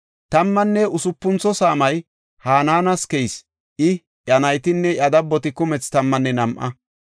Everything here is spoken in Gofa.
Tammanne usupuntho saamay Hanaana keyis; I, iya naytinne iya dabboti kumethi tammanne nam7a.